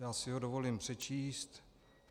Já si ho dovolím přečíst.